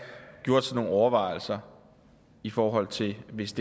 gjort sig nogle overvejelser i forhold til hvis